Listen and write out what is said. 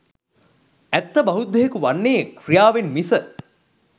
ඇත්ත බෞද්ධයකු වන්නෙ ක්‍රියාවෙන් මිස